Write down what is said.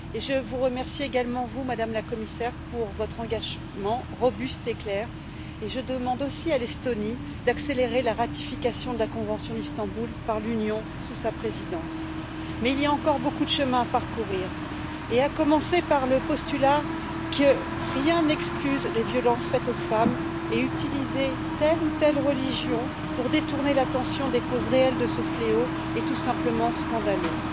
Je vous remercie également, Madame la Commissaire, pour votre engagement robuste et clair et je demande aussi à l'Estonie d'accélérer la ratification de la convention d'Istanbul par l'Union, sous sa Présidence. Il y a néanmoins encore beaucoup de chemin à parcourir, à commencer par le postulat que rien n'excuse les violences faites aux femmes et utiliser telle ou telle religion pour détourner l'attention des causes réelles de ce fléau est tout simplement scandaleux.